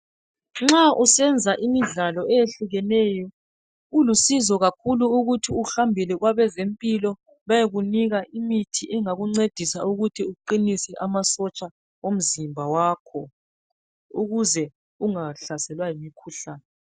Nxa usenza imidlalo eyehlukeneyo kulusizo ukuthi uhambele kwabezempilo bayekunika imithi engakuncedisa ukuthi uqinise amasotsha omzimba wakho ukuze ungahlaselwa yimkhuhlane.